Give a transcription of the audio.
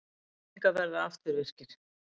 Samningar verði afturvirkir